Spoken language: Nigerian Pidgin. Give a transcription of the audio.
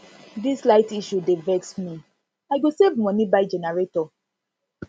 dis light issue dey vex me i go save save moni buy generator